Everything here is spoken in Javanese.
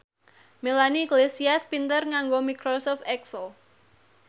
Melanie Iglesias pinter nganggo microsoft excel